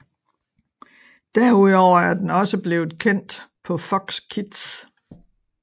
Derudover er den også blevet sendt på Fox Kids